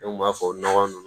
Ne kun b'a fɔ nɔgɔ